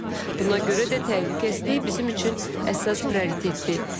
Buna görə də təhlükəsizlik bizim üçün əsas prioritetdir.